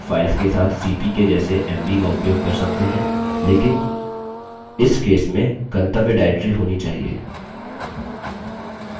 हम विविध files के साथ cp के जैसे mv का उपयोग कर सकते हैं लेकिन इस case में गंतव्य directory होना चाहिए